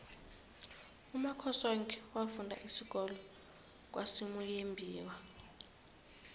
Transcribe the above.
umakhosoke wafunda isikolo kwasimuyembiwa